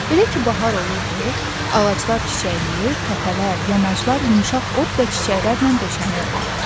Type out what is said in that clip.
Elə ki, bahar olurdu, ağaclar çiçəkləyir, təpələr, yamaclar yumşaq ot və çiçəklərlə döşənirdi.